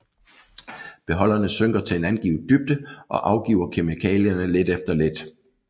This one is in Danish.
Beholderne synker til en angivet dybde og afgiver kemikalierne lidt efter lidt